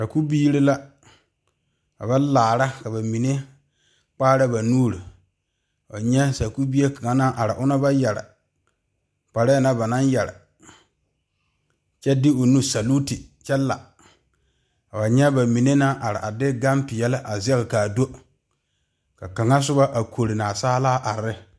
Sakubiiri la a yɛ laare ka bamine kpaare ba nuure nyɛ Sakubie kaŋa naŋ are ona ba yeere kparre naŋ ba naŋ yeere kyɛ de o nu saluti kyɛ la koo nyɛ bamine naŋ are kyɛ de gane peɛle a zage kaa do ka kaŋa soba a koɔre naasaala a are.